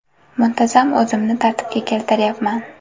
Muntazam o‘zimni tartibga keltiryapman.